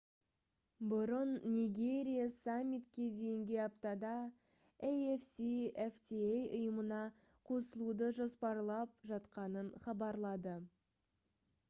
бұрын нигерия саммитке дейінге аптада afcfta ұйымына қосылуды жоспарлап жатқанын хабарлады